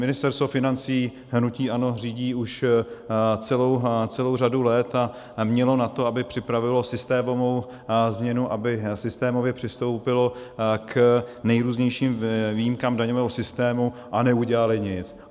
Ministerstvo financí hnutí ANO řídí už celou řadu let a mělo na to, aby připravilo systémovou změnu, aby systémově přistoupilo k nejrůznějším výjimkám daňového systému, a neudělali nic.